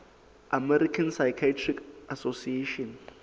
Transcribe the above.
american psychiatric association